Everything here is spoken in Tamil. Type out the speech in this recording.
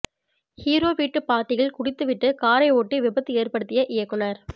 ஹீரோ வீட்டு பார்ட்டியில் குடித்துவிட்டு காரை ஓட்டி விபத்து ஏற்படுத்திய இயக்குனர்